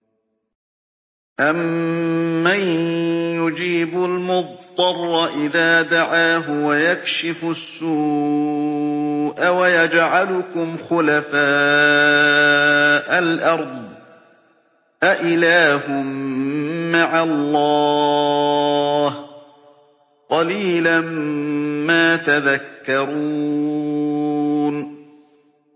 أَمَّن يُجِيبُ الْمُضْطَرَّ إِذَا دَعَاهُ وَيَكْشِفُ السُّوءَ وَيَجْعَلُكُمْ خُلَفَاءَ الْأَرْضِ ۗ أَإِلَٰهٌ مَّعَ اللَّهِ ۚ قَلِيلًا مَّا تَذَكَّرُونَ